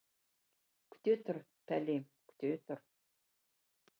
күте тұр пәлем күте тұр